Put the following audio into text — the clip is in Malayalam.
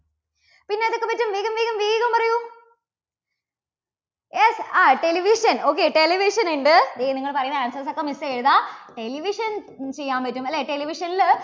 പിന്നെ ഏതൊക്കെ പറ്റും? വേഗം വേഗം വേഗം പറയൂ. yes ആ television okay television ഉണ്ട്. ദേ നിങ്ങൾ പറയുന്ന answers ഒക്കെ miss എഴുതാം. television ചെയ്യാൻ പറ്റും. അല്ലേ? television ല്